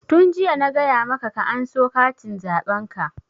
Tun jiya na gaya maka aka anso katin zaɓen ka!